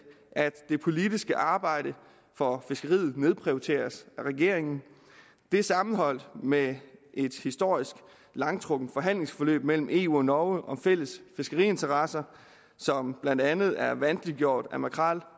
at det politiske arbejde for fiskeriet nedprioriteres af regeringen dette sammenholdt med et historisk langtrukkent forhandlingsforløb mellem eu og norge om fælles fiskeriinteresser som blandt andet er vanskeliggjort af makrel